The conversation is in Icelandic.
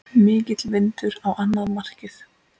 Mikill vindur á annað markið.